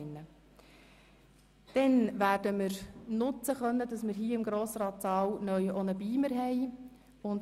Im Saal des Grossen Rats steht uns neuerdings ein Beamer zur Verfügung.